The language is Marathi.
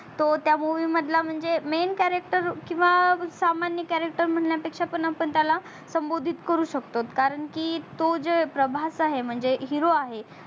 तो त्या movie मधला म्हणजे men character किवा सामान्य character म्हणया पेक्षा आपण त्याला संबोधित करू शकतो कारण की तो जे प्रभास आहे म्हणजे hero आहे